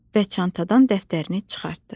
və çantadan dəftərini çıxartdı.